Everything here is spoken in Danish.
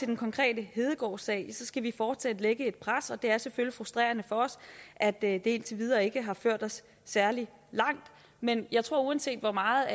den konkrete hedegaardsag skal vi fortsat lægge et pres og det er selvfølgelig frustrerende for os at det indtil videre ikke har ført os særlig langt men jeg tror at uanset hvor meget